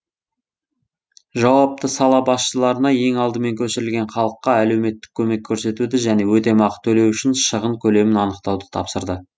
жауапты сала басшыларына ең алдымен көшірілген халыққа әлеуметтік көмек көрсетуді және өтемақы төлеу үшін шығын көлемін анықтауды тапсырды